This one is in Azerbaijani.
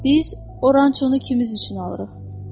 Biz Orançonu kimimiz üçün alırıq?